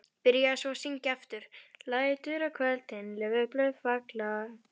Byrjaði svo að syngja aftur: LÆTUR Á KVÖLDIN LAUFBLÖÐ FALLA.